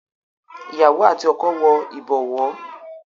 Ìyàwó àti ọkọ wo ibowo